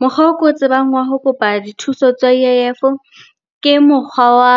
Mokgwa oo ke o tsebang wa ho kopa dithuso tsa U_I_F ke mokgwa wa